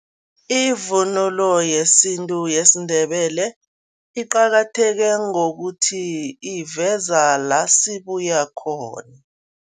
Ivunulo yesintu yesiNdebele iqakatheke ngokuthi, iveza la sibuya khona.